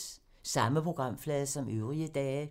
Samme programflade som øvrige dage